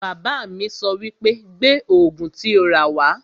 Bàbá mi sọ wípé 'Gbé Ògùn tí o rà wá'